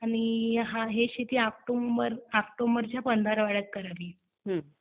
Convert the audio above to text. आणि ही शेती ऑक्टोबरच्या पंधरवड्यात करावी.